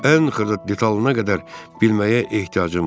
Ən xırda detallına qədər bilməyə ehtiyacım var.